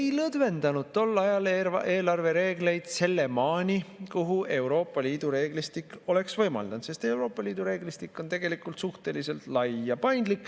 Ei lõdvendanud tol ajal eelarvereegleid sinnamaani, kuhu Euroopa Liidu reeglistik oleks võimaldanud, sest Euroopa Liidu reeglistik on tegelikult suhteliselt lai ja paindlik.